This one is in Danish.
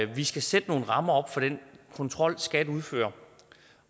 vi skal sætte nogle rammer op for den kontrol skat udfører